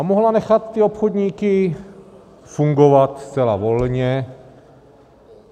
A mohla nechat ty obchodníky fungovat zcela volně.